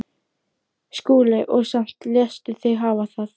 SKÚLI: Og samt léstu þig hafa það?